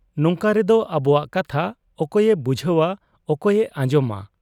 ᱱᱚᱝᱠᱟ ᱨᱮᱫᱚ ᱟᱵᱚᱣᱟᱜ ᱠᱟᱛᱷᱟ ᱚᱠᱚᱭᱮ ᱵᱩᱡᱷᱟᱹᱣ ᱟ, ᱚᱠᱚᱭ ᱮ ᱟᱸᱡᱚᱢᱟ ?